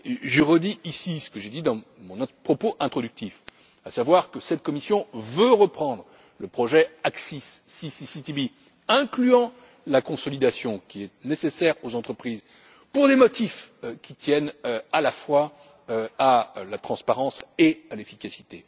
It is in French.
bout. Je redis ici ce que j'ai dit dans notre propos introductif, à savoir que cette Commission veut reprendre le projet ACCIS ou CCCTB, incluant la consolidation qui est nécessaire aux entreprises pour des motifs qui tiennent à la fois de la transparence et de l'efficacité.